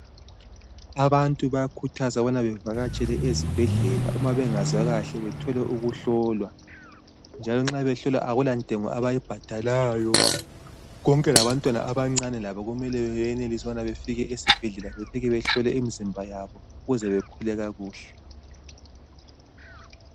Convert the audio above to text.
Abantu bayakhuthazwa ukubana bevakatshele ezibhedlela, uma bengazwa kahle bethole ukuhlolwa njalo nxa behlolwa akulantengo abayibhadalayo. Konke labantwana abancane labo kumele beyenelise ukubana befike esibhedlela, befike behlole imizimba yabo ukuze bekhule kakuhle.